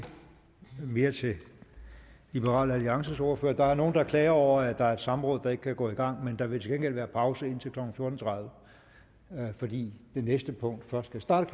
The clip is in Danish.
mere til liberal alliances ordfører der er nogle der klager over at der er et samråd der ikke kan gå i gang men der vil til gengæld være pause indtil klokken fjorten tredive fordi det næste punkt først skal starte